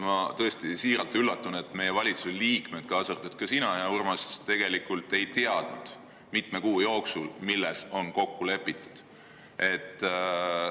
Ma tõesti siiralt üllatusin, et meie valitsuse liikmed, kaasa arvatud ka sina, hea Urmas, tegelikult ei teadnud mitme kuu jooksul, milles on kokku lepitud.